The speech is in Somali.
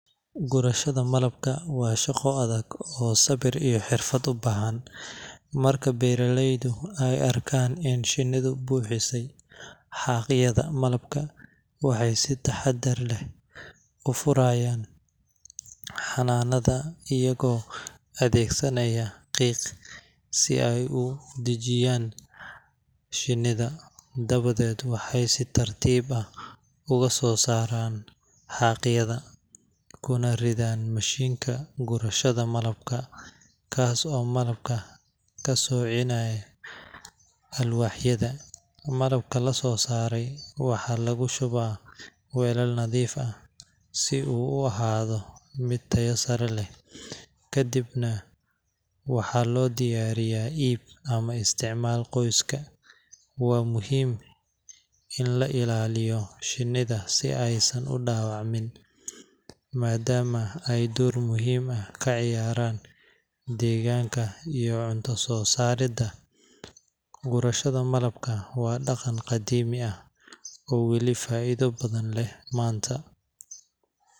Gurashada malabku waa shaqo adag oo sabir iyo xirfad u baahan. Marka beeralaydu ay arkaan in shinnihu buuxisay xaaqyada malabka, waxay si taxaddar leh u furayaan xannaanada iyagoo adeegsanaya qiiq si ay u dejiyaan shinnida. Dabadeed, waxay si tartiib ah uga soo saaraan xaaqyada, kuna ridaan mashiinka gurashada malabka, kaas oo malabka ka soocinaya alwaaxyada. Malabka la soo saaray waxaa lagu shubaa weelal nadiif ah si uu u ahaado mid tayo sare leh, kadibna waxaa loo diyaariyaa iib ama isticmaal qoyska. Waa muhiim in la ilaaliyo shinnida si aysan u dhaawacmin, maadaama ay door muhiim ah ka ciyaaraan deegaanka iyo cunto soo saaridda. Gurashada malabka waa dhaqan qadiimi ah oo weli faa’iido badan leh maanta.